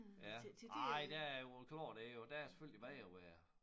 Ja ej der jo klart det jo der er det selvfølgelig bedre at være